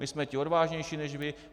My jsme ti odvážnější než vy.